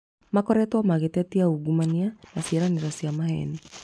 Makoretwo magĩtetia ungumania na ciĩranĩro cia maheni